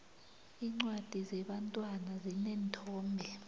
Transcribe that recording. iincwadi zebantwana zineenthombe